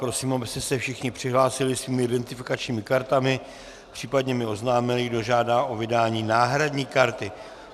Prosím, abyste se všichni přihlásili svými identifikačními kartami, případně mi oznámili, kdo žádá o vydání náhradní karty.